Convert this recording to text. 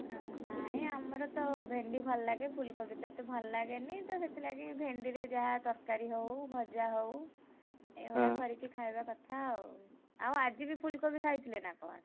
ନାଇଁଆମରତ ଭେଣ୍ଡି ଭଲ ଲାଗେ ଫୁଲକୋବିତ ଏତେ ଭଲ ଲଗେନିତ ସେଥିଲାଗି ଭେଣ୍ଡିରେ ଯାହା ତରକାରୀ ହଉ ଭଜା ହଉ, ଏଇଗୁଡ଼ା କରି ଖାଇବା କଥା ଆଉ। ଆଉ ଆଜିବି ଫୁଲକୋବି ଖାଇଥିଲେ ନା କଣ?